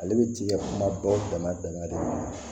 Ale bɛ cikɛ kuma bɛɛ o dama dama de ma